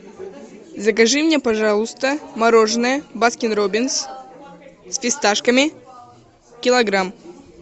закажи мне пожалуйста мороженое баскин роббинс с фисташками килограмм